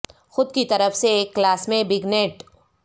خود کی طرف سے ایک کلاس میں بگ نیٹ